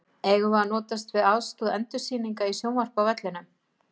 Eigum við að notast við aðstoð endursýninga í sjónvarpi á vellinum?